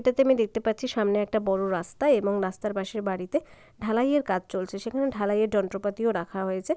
এটাতে আমি দেখতে পাচ্ছি সামনে একটা বড়ো রাস্তা এবং রাস্তার পাশের বাড়িতে ঢালাইয়ের কাজ চলছে সেখানে ঢালাইয়ের যন্ত্রপাতিও রাখা হয়েছে।